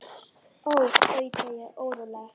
Ó, tauta ég óróleg.